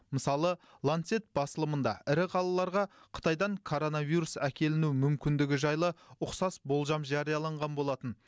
мысалы ланцет басылымында ірі қалаларға қытайдан коронавирус әкеліну мүмкіндігі жайлы ұқсас болжам жарияланған болатын